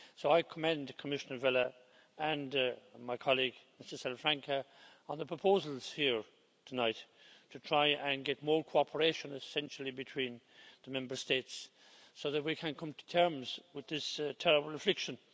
I commend Commissioner Vella and my colleague, Mr Salafranca, on the proposals here tonight to try to get more cooperation, essentially between the Member States, so that we can come to terms with this terrible affliction.